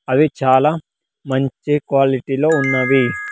అవి చాలా మంచి క్వాలిటీ లో ఉన్నవి.